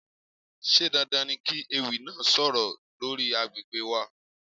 Ṣé dandan ni kí ewì náà sọ̀rọ̀ lórí àgbègbè wa?